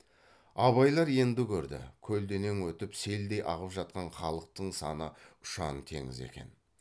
абайлар енді көрді көлденең өтіп селдей ағып жатқан халықтың саны ұшан теңіз екен